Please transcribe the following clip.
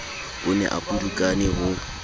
o ne a pudukane ho